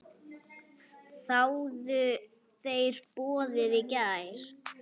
Þáðu þeir boðið í gær.